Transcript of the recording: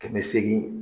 Kɛmɛ seegin